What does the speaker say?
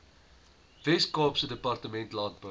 weskaapse departement landbou